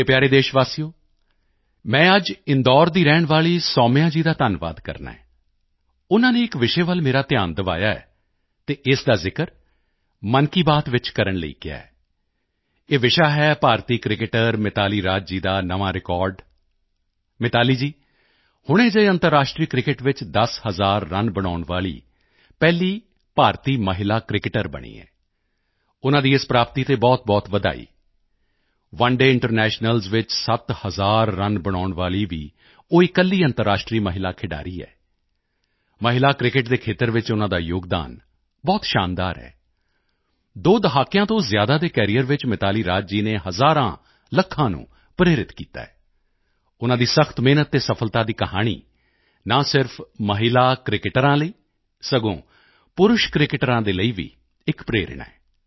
ਮੇਰੇ ਪਿਆਰੇ ਦੇਸ਼ਵਾਸੀਓ ਮੈਂ ਅੱਜ ਇੰਦੌਰ ਦੀ ਰਹਿਣ ਵਾਲੀ ਸੌਮਿਯਾ ਜੀ ਦਾ ਧੰਨਵਾਦ ਕਰਨਾ ਹੈ ਉਨ੍ਹਾਂ ਨੇ ਇਕ ਵਿਸ਼ੇ ਵੱਲ ਮੇਰਾ ਧਿਆਨ ਦਿਵਾਇਆ ਹੈ ਅਤੇ ਇਸ ਦਾ ਜ਼ਿਕਰ ਮਨ ਕੀ ਬਾਤ ਵਿੱਚ ਕਰਨ ਲਈ ਕਿਹਾ ਹੈ ਇਹ ਵਿਸ਼ਾ ਹੈ ਭਾਰਤੀ ਕ੍ਰਿਕਟਰ ਮਿਤਾਲੀ ਰਾਜ ਜੀ ਦਾ ਨਵਾਂ ਰਿਕਾਰਡ ਮਿਤਾਲੀ ਜੀ ਹੁਣੇ ਜਿਹੇ ਅੰਤਰਰਾਸ਼ਟਰੀ ਕ੍ਰਿਕੇਟ ਵਿੱਚ 10 ਹਜ਼ਾਰ ਰਨ ਬਣਾਉਣ ਵਾਲੀ ਪਹਿਲੀ ਭਾਰਤੀ ਮਹਿਲਾ ਕ੍ਰਿਕੇਟਰ ਬਣੀ ਹੈ ਉਨ੍ਹਾਂ ਦੀ ਇਸ ਪ੍ਰਾਪਤੀ ਤੇ ਬਹੁਤਬਹੁਤ ਵਧਾਈ ਓਨੇ ਡੇਅ ਇੰਟਰਨੈਸ਼ਨਲਜ਼ ਵਿੱਚ 7 ਹਜ਼ਾਰ ਰਨ ਬਣਾਉਣ ਵਾਲੀ ਵੀ ਉਹ ਇਕੱਲੀ ਅੰਤਰਰਾਸ਼ਟਰੀ ਮਹਿਲਾ ਖਿਡਾਰੀ ਹੈ ਮਹਿਲਾ ਕ੍ਰਿਕੇਟ ਦੇ ਖੇਤਰ ਵਿੱਚ ਉਨ੍ਹਾਂ ਦਾ ਯੋਗਦਾਨ ਬਹੁਤ ਸ਼ਾਨਦਾਰ ਹੈ ਦੋ ਦਹਾਕਿਆਂ ਤੋਂ ਜ਼ਿਆਦਾ ਦੇ ਕੈਰੀਅਰ ਵਿੱਚ ਮਿਤਾਲੀ ਰਾਜ ਜੀ ਨੇ ਹਜ਼ਾਰਾਂਲੱਖਾਂ ਨੂੰ ਪ੍ਰੇਰਿਤ ਕੀਤਾ ਹੈ ਉਨ੍ਹਾਂ ਦੀ ਸਖ਼ਤ ਮਿਹਨਤ ਅਤੇ ਸਫਲਤਾ ਦੀ ਕਹਾਣੀ ਨਾ ਸਿਰਫ ਮਹਿਲਾ ਕ੍ਰਿਕੇਟਰਾਂ ਲਈ ਸਗੋਂ ਪੁਰਸ਼ ਕ੍ਰਿਕੇਟਰਾਂ ਦੇ ਲਈ ਵੀ ਇਕ ਪ੍ਰੇਰਣਾ ਹੈ